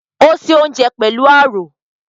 Ò ń se oúnjẹ pẹ̀lú àrò